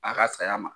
A ka saya ma